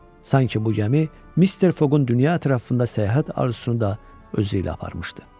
Sanki bu gəmi Mr. Foqun dünya ətrafında səyahət arzusunu da özü ilə aparmışdı.